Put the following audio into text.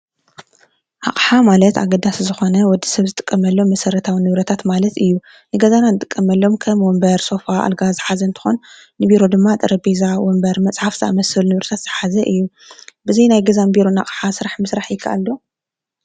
ኣቕሓ ማለት ኣገዳስ ዝኾነ ወዲ ሰብ ዝጥቀመሎም መሠረታውን ንብረታት ማለት እዩ፡፡ ንገዛናን ጥቀመሎም ከም ወንበር ፣ሶፋ ፣ኣልጋ ዝሓዘ እንትኾን ንቢሮ ድማ ጠረቤዛ ፣ወምበር ፣መጽሓፍ ዝኣመስሉ ንብረታት ዝሓዘ እዩ፡፡ ብዘይ ናይ ገዛን ቢሮን ኣቕሓ ስራሕ ምሥራሕ ይከኣል ዶ?